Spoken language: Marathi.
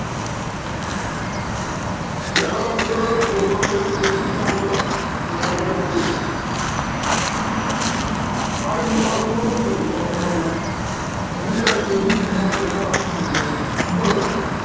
एखादा सरळ बोलला तरी चुकीचं ऐकलं, तर त्याला वाईट वाटू शकतं. आरे मी तर तुला असं म्हणलोच नाही तु तर म्हणजे मी ऐकल माझ्या काय कानात हम्म मळ झालाय का?